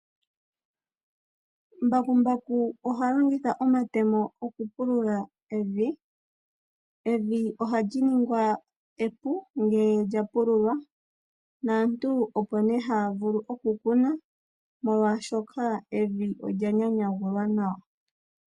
Mbakumbaku oha longitha omatemo okupulula evi. Evi ohali ningwa epu ngele lya pululwa naantu opo nee haya vulu okukuna, molwashoka evi olya nyanyagulwa nawa.